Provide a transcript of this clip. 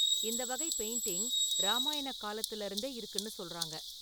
இந்த​ வகை பெயிண்டிங் ராமாயண​ காலத்திலிருந்தே இருக்குனு சொல்றாங்க.